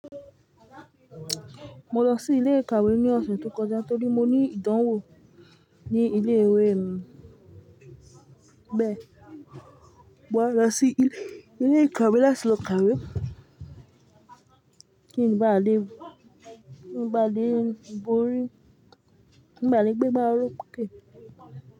Mo lọ sí ilé ìkàwé ní ọ̀sẹ̀ tó kọjá torí mo ní ìdánwò ní ilé ìwé mi. Bẹ́ẹ̀, mo wá lọ sí ilé ìkàwé láti lọ kàwé. Kí n ba lè, n ba lè borí, n ba lè gbé gbá oróké.